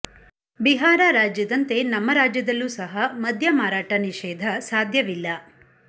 ಬಿಹಾರ ರಾಜ್ಯದಂತೆ ನಮ್ಮ ರಾಜ್ಯದಲ್ಲೂ ಸಹ ಮದ್ಯ ಮಾರಾಟ ನಿಷೇಧ ಸಾಧ್ಯವಿಲ್ಲ